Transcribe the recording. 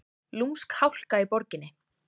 Lúmsk hálka í borginni